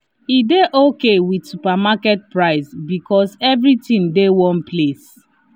e dey okay with supermarket price because everything dey one place.